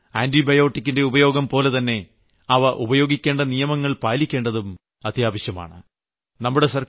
അതുകൊണ്ട് ആന്റിബയോട്ടിക്കിന്റെ ഉപയോഗംപോലെതന്നെ അവ ഉപയോഗിക്കേണ്ട നിയമങ്ങൾ പാലിക്കേണ്ടതും അത്യാവശ്യമാണ്